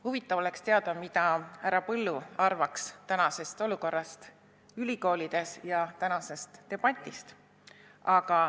" Huvitav oleks teada, mida härra Põld arvaks tänasest ülikoolide olukorrast ja tänasest debatist.